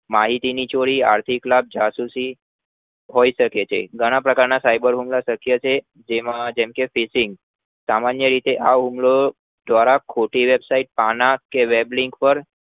માહીતી ની ચોરી આર્થિક લાભ જાસુસી હોઈ શકે છે ઘણા પ્રકાર ન cyber હુમલા શક્ય છે જેમાં જેમકે cheating સામાન્ય રીતે આ હુમલો દ્વારા ખોટી website પાનાર કે weblink પર